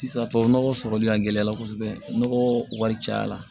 Sisan tubabu nɔgɔ sɔrɔli a gɛlɛya la kosɛbɛ nɔgɔ caya la